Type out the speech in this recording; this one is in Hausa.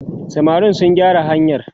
samarin su gyara hanyar!